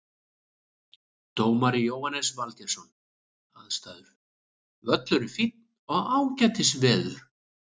Dómari Jóhannes Valgeirsson Aðstæður Völlurinn fínn og ágætis veður.